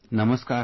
Namaskar